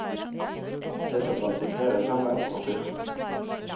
Det som bandt imperiet sammen var fyrsten.